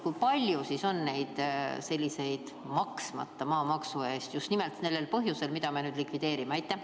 Kui palju siis on sellist maksmata maamaksu, just nimelt nendel põhjustel, mida me likvideerime?